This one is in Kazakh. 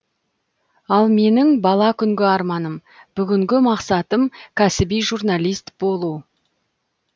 ал менің бала күнгі арманым бүгінгі мақсатым кәсіби журналист болу